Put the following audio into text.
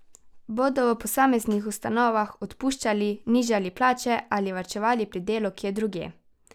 Bodo v posameznih ustanovah odpuščali, nižali plače ali varčevali pri delu kje drugje?